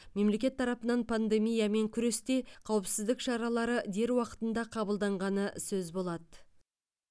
мемлекет тарапынан пандемиямен күресте қауіпсіздік шаралары дер уақытында қабылданғаны сөз болады